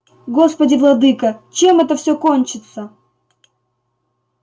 господи владыка чем это всё кончится